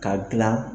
Ka gilan